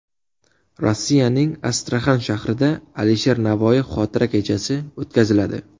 Rossiyaning Astraxan shahrida Alisher Navoiy xotira kechasi o‘tkaziladi.